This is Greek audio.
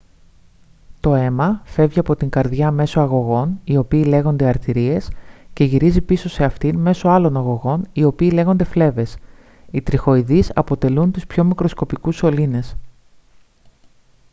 το αίμα φεύγει από την καρδιά μέσω αγωγών οι οποίοι λέγονται αρτηρίες και γυρίζει πίσω σε αυτήν μέσω άλλων αγωγών οι οποίοι λέγονται φλέβες οι τριχοειδείς αποτελούν τους πιο μικροσκοπικούς σωλήνες